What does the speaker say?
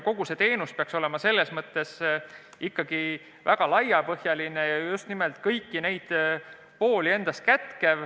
Kogu see teenus peaks olema ikkagi väga laiapõhjaline ja kätkema kõiki kõik neid pooli.